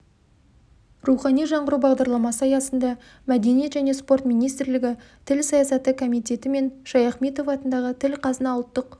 рухани жаңғыру бағдарламасы аясында мәдениет және спорт министрлігі тіл саясаты комитеті мен шаяхметов атындағы тіл-қазына ұлттық